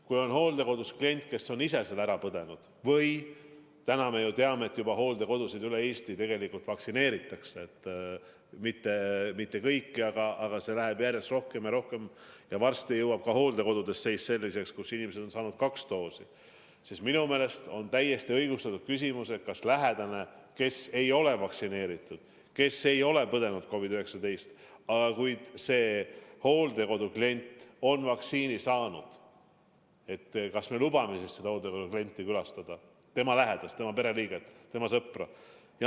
Kui on hooldekodus klient, kes on ise selle haiguse läbi põdenud või – täna me ju teame, et hooldekodude elanikke üle Eesti tegelikult juba vaktsineeritakse, mitte kõiki, aga järjest rohkem ja rohkem, ja varsti on ka hooldekodude seis selline, et inimesed on saanud kaks doosi –, siis minu meelest on täiesti õigustatud küsimus, et kas lähedasel, kes ise ei ole vaktsineeritud ega ole põdenud COVID-19, aga hooldekodu klient on vaktsiini saanud, me lubame külastada seda klienti, lähedast, pereliiget, sõpra.